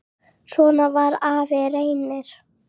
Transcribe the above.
Svona var afi Reynir.